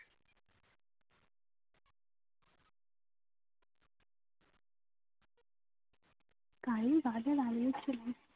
কারীর বাজার আরো উঠছিলো